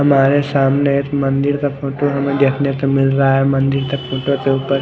हमारे सामने एक मंदिर का फोटो हमे देखने मिल रहा है मंदिर के फोटो के उपर--